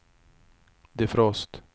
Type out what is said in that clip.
defrost